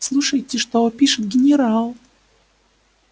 слушайте что пишет генерал